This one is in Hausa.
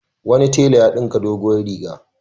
Wani tela ya ɗinka doguwar riga.